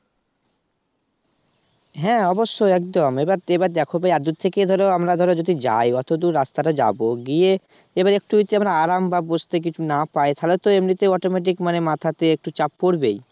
হ্যাঁ অবশ্যই একদম এবার দেখো এত দূর থেকে ধরো আমরা যদি যাই অতদূর রাস্তা যাব গিয়ে এবার একটু যদি আমরা আরাম বা বসতে না পাই তাহলে তো এমনিতেই automatic মাথাটা একটু চাপ পড়বেই